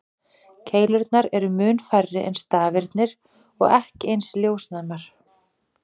Keilurnar eru mun færri en stafirnir og ekki eins ljósnæmar.